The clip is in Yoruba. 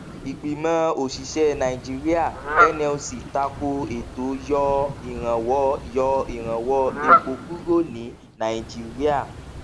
ìgbìmọ òṣìṣẹ nàíjíríà nlc tako ètò yọ ìrànwọ yọ ìrànwọ epo kúrò ní nàíjíríà